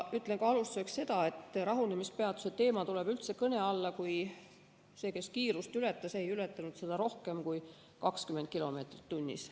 Ütlen alustuseks ka seda, et rahunemispeatuse teema tuleb kõne alla üldse siis, kui see, kes kiirust ületas, ei ületanud seda rohkem kui 20 kilomeetrit tunnis.